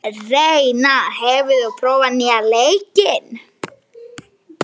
Reinar, hefur þú prófað nýja leikinn?